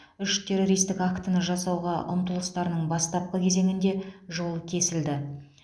үш террористік актіні жасауға ұмтылыстарының бастапқы кезеңінде жолы кесілді